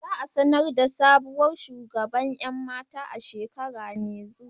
Za a sanar da sabuwar shugaban 'yan mata a shekara mai zuwa.